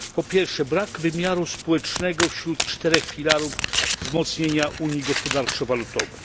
1. Brak wymiaru społecznego wśród czterech filarów wzmocnienia unii gospodarczo walutowej.